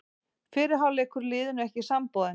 Fyrri hálfleikur liðinu ekki samboðinn